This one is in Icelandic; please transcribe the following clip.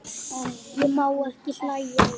Ég má ekki hlæja.